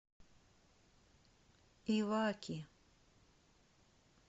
иваки